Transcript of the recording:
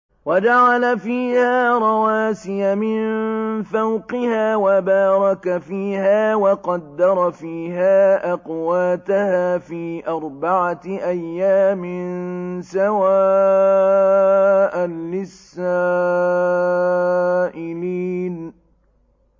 وَجَعَلَ فِيهَا رَوَاسِيَ مِن فَوْقِهَا وَبَارَكَ فِيهَا وَقَدَّرَ فِيهَا أَقْوَاتَهَا فِي أَرْبَعَةِ أَيَّامٍ سَوَاءً لِّلسَّائِلِينَ